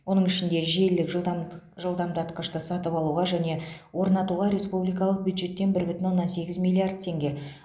оның ішінде желілік жылдамд жылдамдатқышты сатып алуға және орнатуға республикалық бюджеттен бір бүтін оннан сегіз миллиард теңге